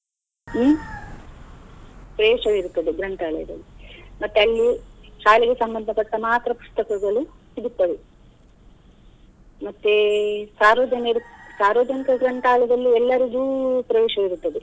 ಹ್ಮ್‌ ಪ್ರವೇಶ ವಿರ್ತದೆ ಗ್ರಂಥಾಲಯದಲ್ಲಿ ಮತ್ತೆ ಅಲ್ಲಿ ಶಾಲೆಯ ಸಂಬಂಧ ಪಟ್ಟ ಮಾತ್ರ ಪುಸ್ತಕಗಳು ಸಿಗುತ್ತವೆ. ಮತ್ತೇ ಸಾರ್ವಜನಿ~ ಸಾರ್ವಜನಿಕ ಗ್ರಂಥಾಲಯಗಳಲ್ಲಿ ಎಲ್ಲರಿಗೂ ಪ್ರವೇಶ ಇರುತ್ತದೆ.